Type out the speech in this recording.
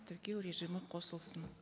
тіркеу режимі қосылсын